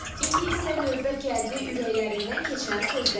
İndi isə növbə gəldi ürəklərindən keçən sözlərə.